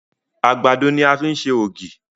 Àgbàdo ní a fi ṣe ògì.